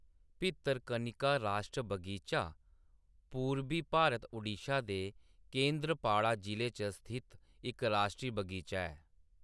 भितरकनिका राश्ट्री बगीचा पूरबी भारत ओड़िशा दे केंद्रपाड़ा जिले च स्थित इक राश्ट्री बगीचा ऐ।